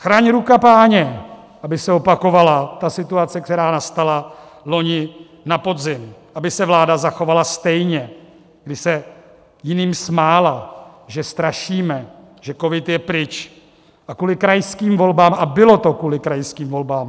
Chraň ruka Páně, aby se opakovala ta situace, která nastala loni na podzim, aby se vláda zachovala stejně, když se jiným smála, že strašíme, že covid je pryč, a kvůli krajským volbám - a bylo to kvůli krajským volbám!